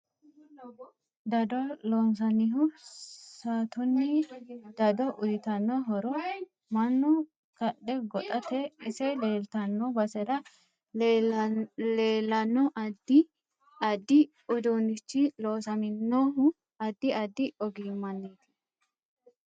Daddo loonsannihu saatuniini daddo uyiitanno horo mannu kadhe goxateeti ise leeltanno basera leelanno addi addi uduunichi loosaminohu addi addi ogimaniiti